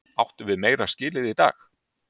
Áttum við meira skilið í dag?